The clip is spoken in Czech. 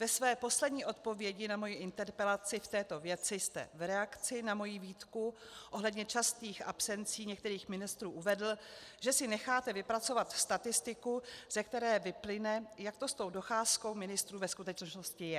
Ve své poslední odpovědi na moji interpelaci v této věci jste v reakci na moji výtku ohledně častých absencí některých ministrů uvedl, že si necháte vypracovat statistiku, ze které vyplyne, jak to s tou docházkou ministrů ve skutečnosti je.